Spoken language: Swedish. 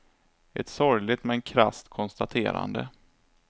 Ett sorgligt, men krasst konstaterande.